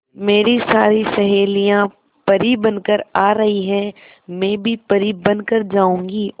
मेरी सारी सहेलियां परी बनकर आ रही है मैं भी परी बन कर जाऊंगी